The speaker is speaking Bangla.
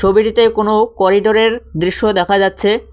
ছবিটিতে কোন করিডরের দৃশ্য দেখা যাচ্ছে।